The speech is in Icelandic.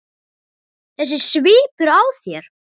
Þessi svipur á þér.